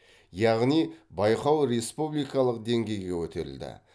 яғни байқау республикалық деңгейге көтерілді